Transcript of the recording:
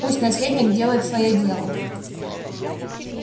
пусть наследник делает своё дело